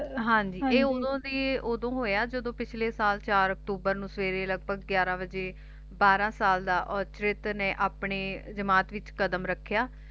ਹਾਂਜੀ ਇਹ ਓਦੋ ਜੀ ਓਦੋ ਹੋਇਆ ਜਦੋ ਪਿਛਲੇ ਸਾਲ ਚਾਰ ਅਕਤੂਬਰ ਨੂੰ ਸਵੇਰੇ ਲਗਭਗ ਗਿਆਰਾਂ ਵਜੇ ਬਾਰਾਂ ਸਾਲ ਦਾ ਔਰਚਿਤ ਨੇ ਆਪਣੀ ਜਮਾਤ ਵਿਚ ਕਦਮ ਰੱਖਿਆ